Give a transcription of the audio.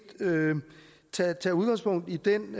tage udgangspunkt i den